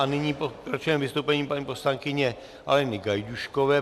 A nyní pokračujeme vystoupením paní poslankyně Aleny Gajdůškové.